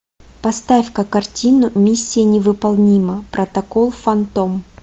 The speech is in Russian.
поставь ка картину миссия невыполнима протокол фантом